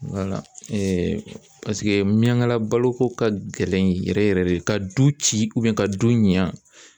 Wala paseke miyangala baloko ka gɛlɛn yɛrɛ yɛrɛ de ka du ci ka du ɲa.